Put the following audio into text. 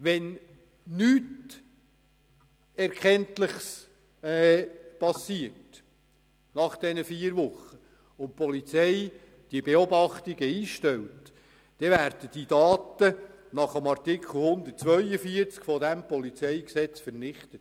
Wenn nach diesen Wochen keine Erkenntnisse gewonnen werden und die Polizei die Beobachtungen einstellt, werden die Daten gemäss Artikel 142 PolG vernichtet.